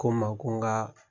Ko ma ko n n ka